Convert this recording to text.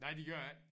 Nej det gør det ikke